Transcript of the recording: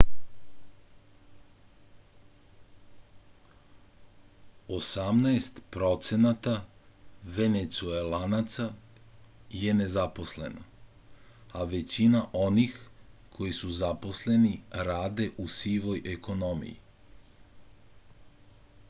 osamnaest procenata venecuelanaca je nezaposleno a većina onih koji su zaposleni rade u sivoj ekonomiji